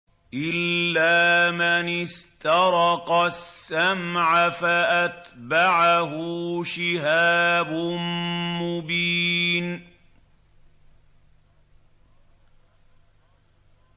إِلَّا مَنِ اسْتَرَقَ السَّمْعَ فَأَتْبَعَهُ شِهَابٌ مُّبِينٌ